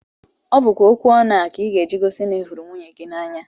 Ọ bụkwa okwu ọnụ a ị ga- eji gosi na ị hụrụ nwunye gị n'anya